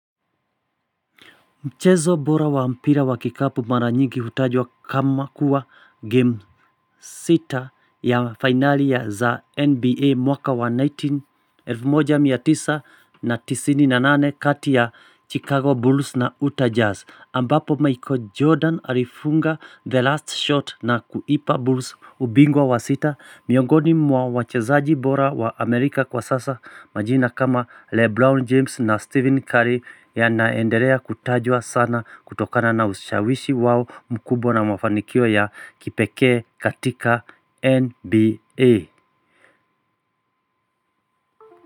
Mchezo bora wa mpira wa kikapu mara nyingi hutajwa kama kuwa game Sita ya finali ya za NBA mwaka wa 191998 kati ya Chicago Bulls na Utah Jazz ambapo Michael Jordan alifunga the last shot na kuipa Bulls ubingwa wa sita Miongoni mwa wachezaji bora wa Amerika kwa sasa majina kama Lebron James na Stephen Curry yanaendelea kutajwa sana kutokana na usashawishi wao mkubwa na mafanikio ya kipekee katika NBA.